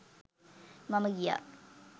මම ගියා